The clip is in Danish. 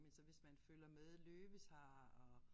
Men så hvis man følger med Løve's har og